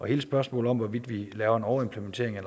hele spørgsmålet om hvorvidt vi laver en overimplementering